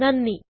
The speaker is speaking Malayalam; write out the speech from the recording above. നന്ദി